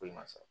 Foyi ma sɔrɔ